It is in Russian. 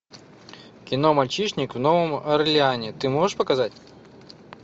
кино мальчишник в новом орлеане ты можешь показать